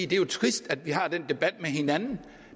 det er trist at vi har den debat med hinanden